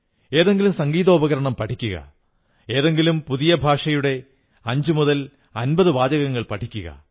എന്തെങ്കിലും സംഗീതോപകരണം പഠിക്കുക ഏതെങ്കിലും പുതിയ ഭാഷയുടെ 550 വാചകങ്ങൾ പഠിക്കുക